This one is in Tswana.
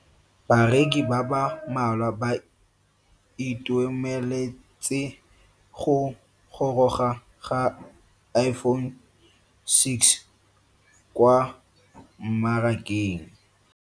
Bareki ba ba malwa ba ituemeletse go goroga ga Iphone6 kwa mmarakeng.